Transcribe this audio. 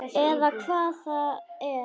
Eða hvað það er.